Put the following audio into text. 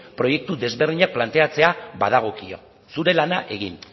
proiektu ezberdinak planteatzera badagokio zure lana egin